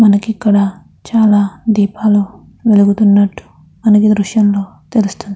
మనకి ఇక్కడ చాలా దీపాలు వెలుగుతున్నట్టు మనకి ఈ దృశ్యంలో తెలుస్తుంది.